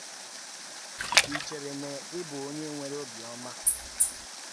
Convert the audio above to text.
Ị̀ chèrè na ị̀ bụ onye nwere ọ̀bịọ́mà?